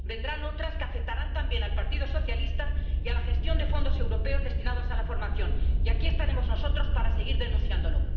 Vendrán otras que afectarán también al Partido Socialista y a la gestión de fondos europeos destinados a la formación. Y aquí estaremos nosotros para seguir denunciándolo.